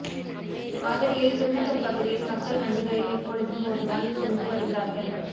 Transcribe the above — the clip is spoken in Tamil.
மதுரையில் திருநகர் பகுதியில் மக்கள் வண்டிகளில் எப்பொழுதும் போதுதான் சென்று வருகிறார்கள்